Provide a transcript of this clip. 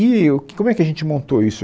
E como é que a gente montou isso?